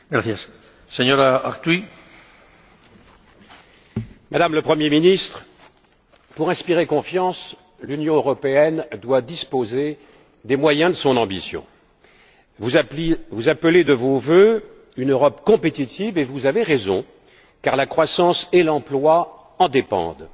Monsieur le Président, Madame la Première ministre, pour inspirer confiance, l'Union européenne doit disposer des moyens de son ambition. Vous appelez de vos vœux une Europe compétitive et vous avez raison car la croissance et l'emploi en dépendent.